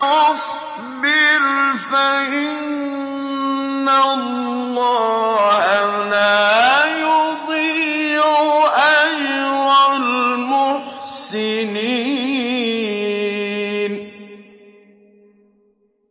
وَاصْبِرْ فَإِنَّ اللَّهَ لَا يُضِيعُ أَجْرَ الْمُحْسِنِينَ